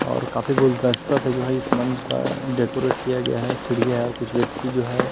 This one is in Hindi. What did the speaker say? और काफी गुलदस्ता से जो है इस मंच का डेकोरेट किया गया है सीढ़िया है और कुछ व्यक्ति जो है।